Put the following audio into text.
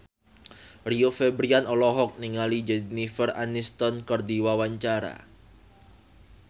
Rio Febrian olohok ningali Jennifer Aniston keur diwawancara